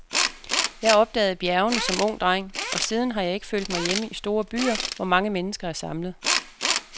Jeg opdagede bjergene som ung dreng, og siden har jeg ikke følt mig hjemme i store byer, hvor mange mennesker er samlet.